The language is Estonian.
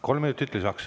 Kolm minutit lisaks.